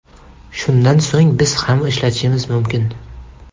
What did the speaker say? Shundan so‘ng biz ham ishlatishimiz mumkin.